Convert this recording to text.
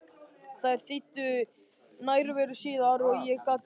Þær þýddu nærveru síðar og ég gat beðið.